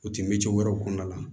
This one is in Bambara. O ti miliyɔn wɛrɛw kɔnɔna la